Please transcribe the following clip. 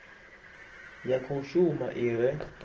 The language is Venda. ya khou shuma i re